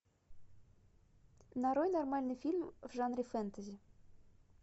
нарой нормальный фильм в жанре фэнтези